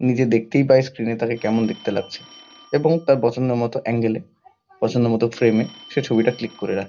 নিজে দেখতেই পায় স্ক্রিন -এ তাকে কেমন দেখতে লাগছে এবং তার পছন্দ মতো এঙ্গেল -এ পছন্দ মতো ফ্রেম -এ সে ছবিটা ক্লিক করে রাখে।